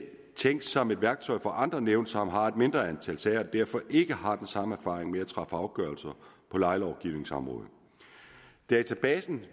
tænkt som et værktøj for andre nævn som har et mindre antal sager og derfor ikke har den samme erfaring med at træffe afgørelser på lejelovgivningsområdet databasen